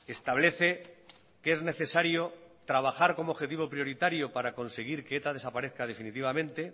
establece que es necesario trabajar como objetivo prioritario para conseguir que eta desaparezca definitivamente